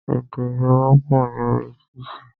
Èdè ìgboro pọ̀ ní orí títì.